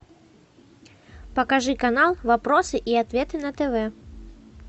покажи канал вопросы и ответы на тв